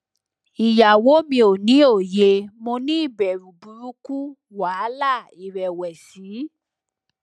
iyawo mi o ni oye mo ni ibẹru buruku wahala irẹwẹsi